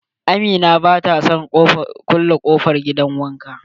Amina bata son kulle kofar gidan wanka.